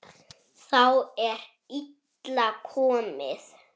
Þá er illa komið.